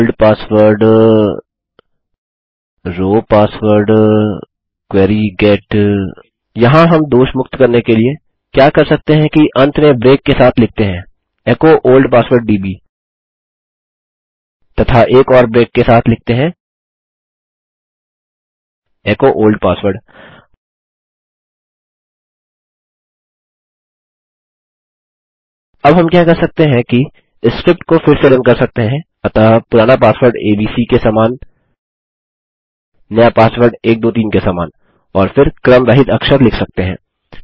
old password row password query get यहाँ हम दोषमुक्त करने के लिए क्या कर सकते हैं कि अन्त में ब्रेक के साथ लिखते हैं एचो ओल्ड पासवर्ड दब् तथा एक और ब्रेक के साथ लिखते हैं एचो ओल्ड पासवर्ड अब हम क्या कर सकते हैं कि स्क्रिप्ट को फिर से रन कर सकते हैं अतः पुराना पासवर्ड एबीसी के समान नया पासवर्ड 123 के समान और फिर क्रम रहित अक्षर लिख सकते हैं